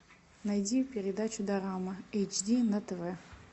найди передачу дорама эйч ди на тв